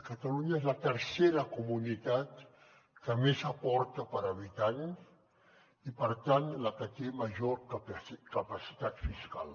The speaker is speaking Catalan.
catalunya és la tercera comunitat que més aporta per habitant i per tant la que té major capacitat fiscal